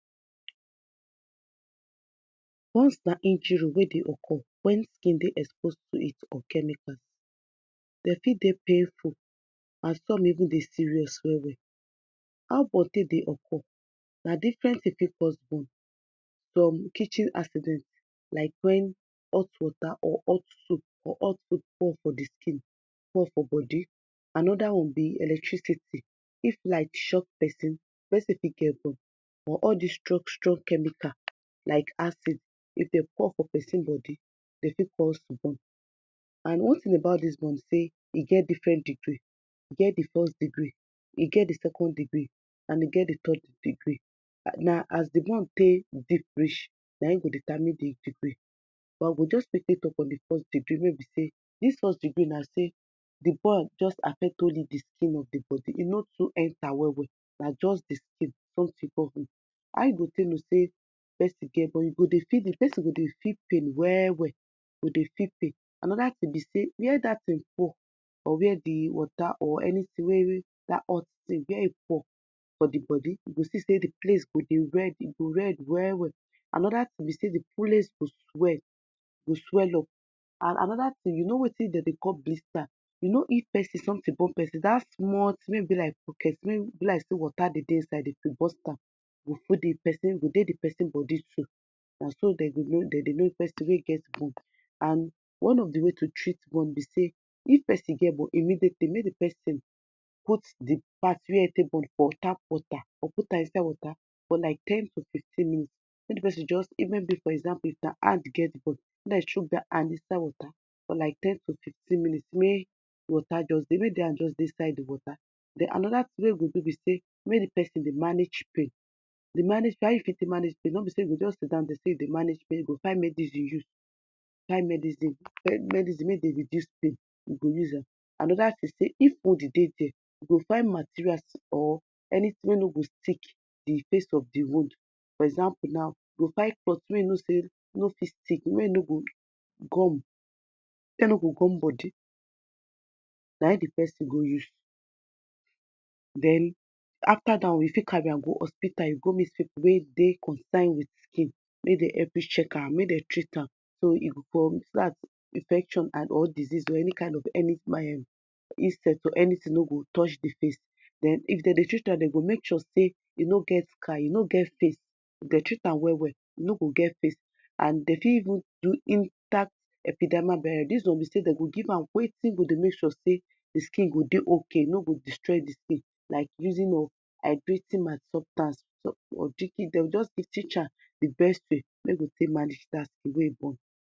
Burns na injury wey dey occur wen e expose to heat or chemical, dem for dey painful as some dey serious well well, how burns take dey occur, na different kitchen burn chicken purs burn, from kitchen accident from like when hot water or hot soup or hot oil pour for di skin, pour for body another one bí electricity, if light shock person, di person for get burn or all these strong strong chemical like acid if dem pour for person body, dem fit cos burn and one thing about dis burn bi say e get different degree, e get di first degree, e get di second decree, and e get di third degree, na as the burn take deep reach na e go determine di degree but I go just quickly talk on di first degree wey e bi say dis first degree na say di burn just affect only di skin of di body, ẹ no too enter well well, na just di skin not di body, how you take no say person get burn, you go dey feel di, di person go dey feel pain well welly, another tin bi say where dat tin pour or where di water or anything wey dat hot tin where e pour for di body, you go see say di place go dey red, ẹ go red well well, another tin bi say di place go swell, e go swell up, another tin, you know wetin dem dey call blister, you know if person, something burn person, that small tin wey e bi like bukety, wey e bi like water dey dey inside if you burst am go dey di person body, na so dem go know, dem dey know person wey get burn and one of di way to treat burn bí say, if person get burn, immediately, make di person put di part wey e take burn for tap water or put am inside water for like ten to fifteen minutes, make di person just, maybe for example, if na hand get burn, make dem shook that hand inside water for like ten to fifteen minutes may water just dey, may di hand just dey inside water den another tin wey e go do bí say make di person dey manage pain, dey manage pain, how you fit take manage pain, no bi say go just sit down dey say you dey manage pain you go find medicine dey use, find medicine, medicine wey det reduce pain you go use am, another tin be say if wound dey diae, you go find materials or anything wey no go stick di face of di wound for example now, you go find cloth wey you know say no fit stick, may no go gum, wey no go gum body na e di person go use den after dat one, you fit carry am go hospita, go and meet people wey dey concern with him, make dem help you check am, make dem treat am, so dat infection or disease or any kind of any um insect or anything no go touch di face den if dem dey treat am, dem go make sure say e no get scar, e no get face, if dem treat an well well, e no go get face at all and dem fit even do inter epidama???, dis one bí say dem go give am wetin go dey make sure say di skin go dry okay, e no go destroy di skin like using of hydr ten ma substance or treating dem di best way wey go take make am di way you want.